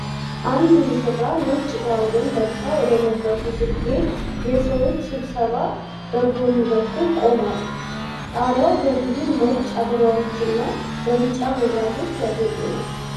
አንድ ሙሽራ ነጭ ጋውን ለብሳ ወደ መድረኩ ስትሄድ፣ የሰዎች ስብስብ በጎን በኩል ቆሟል። ጣሪያው በብዙ ነጭ አበባዎችና በቢጫ መብራቶች ያጌጠ ነው።